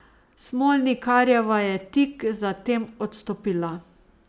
Smolnikarjeva je tik za tem odstopila.